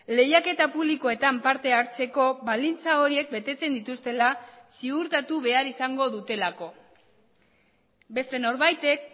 lehiaketa publikoetan parte hartzeko baldintza horiek betetzen dituztela ziurtatu behar izango dutelako beste norbaitek